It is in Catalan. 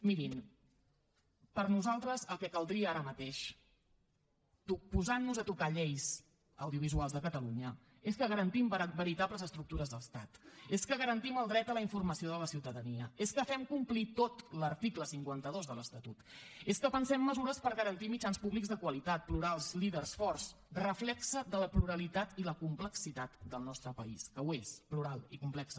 mirin per nosaltres el que caldria ara mateix posant nos a tocar lleis audiovisuals de catalunya és que garantim veritables estructures d’estat és que garantim el dret a la informació de la ciutadania és que fem complir tot l’article cinquanta dos de l’estatut és que pensem mesures per garantir mitjans públics de qualitat plurals líders forts reflex de la pluralitat i la complexitat del nostre país que ho és plural i complex